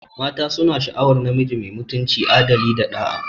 Mata suna sha'awar namiji mai mutunci, adali, da ɗa'a.